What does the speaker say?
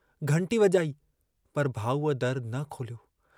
घंटी वॼणु पर भाऊअ दर न खोलियो।